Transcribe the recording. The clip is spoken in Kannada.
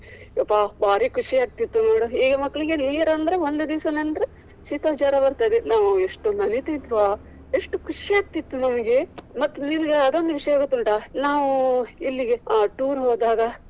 ಅಬ್ಬಾ ಬಾರಿ ಖುಷಿ ಆಗ್ತಿತ್ತು ನೋಡು ಈಗ ಮಕ್ಳಿಗೆ ನೀರ್ ಅಂದ್ರೆ ಒಂದು ದಿವ್ಸ ನೆಂದ್ರೆ ಶೀತ ಜ್ವರ ಬರ್ತದೆ. ನಾವು ಎಷ್ಟು ನಲಿತಿದ್ವ ಎಷ್ಟು ಖುಷಿ ಆಗ್ತಿತ್ತು ನಮ್ಗೆ. ಮತ್ತೆ ಇಲ್ಲದಿದ್ರೆ ಅದೊಂದು ವಿಷಯ ಗೊತ್ತುಂಟಾ ನಾವು ಇಲ್ಲಿಗೆ tour ಹೋದಾಗ.